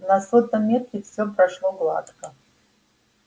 на сотом метре все прошло гладко